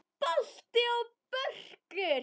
Balti og Börkur!